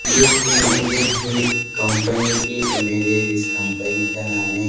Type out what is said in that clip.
यह इमेज एक ये कंपनी की इमेज है जिस कंपनी का नाम है--